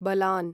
बलान्